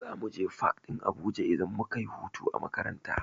Za muje fak ɗin Abuja idan muka yi hutu a makaranta.